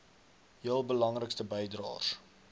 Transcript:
heel belangrikste bydraers